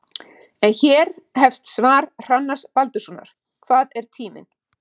En hér hefst svar Hrannars Baldurssonar: Hvað er tíminn?